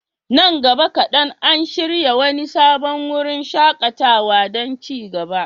Nan gaba kaɗan, an shirya wani sabon wurin shaƙatawa don ci gaba.